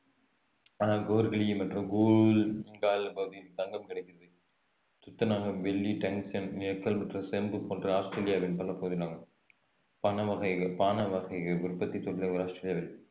பகுதியில் தங்கம் கிடைக்கிறது துத்தநாகம் வெள்ளி டங்ஸ்டன் நிக்கல் மற்றும் செம்பு போன்ற ஆஸ்திரேலியாவின் பண வகைகள் பானவகைகள் உற்பத்தி ஆஸ்திரேலியாவின்